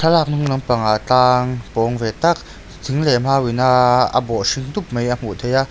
thlalak hnung lam pangah tlang pawng ve tak thing leh mau in a bawh hring dup mai a hmuh theih a.